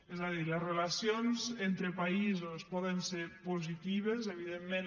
és a dir les relacions entre països poden ser positives evidentment